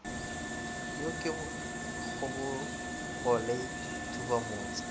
yo ke kgobogo le thubamotse